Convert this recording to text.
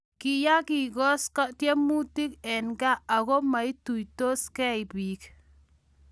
Kiyaakisot tumwek eng' gaa aku maituisot gei biik